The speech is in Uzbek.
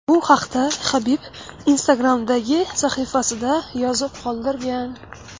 Bu haqda Habib Instagram’dagi sahifasida yozib qoldirgan .